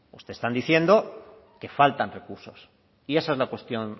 ustedes están diciendo que faltan recursos y esa es la cuestión